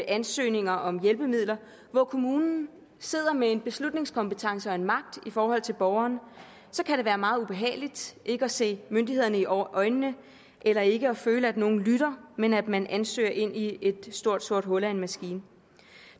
ansøgninger om hjælpemidler hvor kommunen sidder med en beslutningskompetence og en magt i forhold til borgeren kan det være meget ubehageligt ikke at se myndighederne i øjnene eller ikke at føle at nogen lytter men at man ansøger ind i et stort sort hul af en maskine